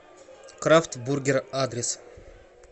крафт бургер адрес